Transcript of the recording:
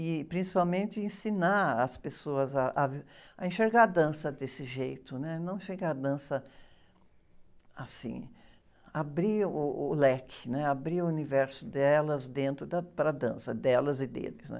E, principalmente, ensinar as pessoas ah, ah, a enxergar a dança desse jeito, não enxergar a dança assim, abrir uh, uh, o leque, né? Abrir o universo delas dentro da, para a dança, delas e deles, né?